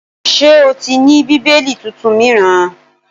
Ṣé o ti ní Bíbélì tuntun míràn?